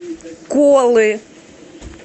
колы